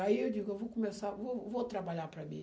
Aí eu digo, eu vou começar vou vou trabalhar para mim.